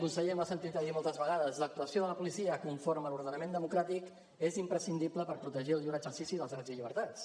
conseller m’ho ha sentit a dir moltes vegades l’actuació de la policia conforme a l’ordenament democràtic és imprescindible per protegir el lliure exercici dels drets i llibertats